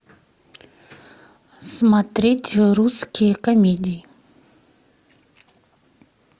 смотреть русские комедии